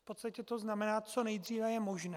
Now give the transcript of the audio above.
V podstatě to znamená, co nejdříve je možné.